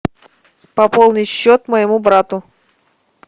пополни счет моему брату